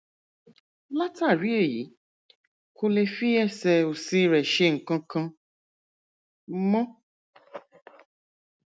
látàrí èyí kò lè fi ẹsẹ òsì rẹ ṣe nǹkan kan mọ